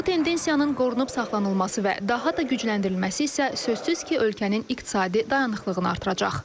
Bu tendensiyanın qorunub saxlanılması və daha da gücləndirilməsi isə sözsüz ki, ölkənin iqtisadi dayanıqlığını artıracaq.